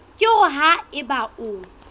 ke hore ha eba o